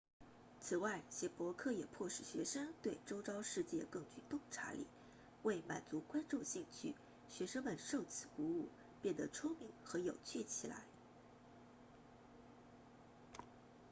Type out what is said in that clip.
此外写博客也迫使学生对周遭世界更具洞察力为满足观众兴趣学生们受此鼓舞变得聪明和有趣起来